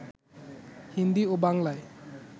হিন্দী ও বাংলায়